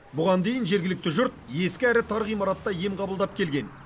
бұған дейін жергілікті жұрт ескі әрі тар ғимаратта ем қабылдап келген